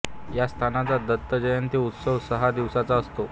या संस्थानाचा दत्त जयंती उत्सव सहा दिवसांचा असतो